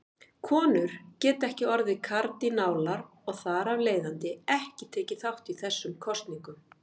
Konur geta ekki orðið kardínálar og þar af leiðandi ekki tekið þátt í þessum kosningum.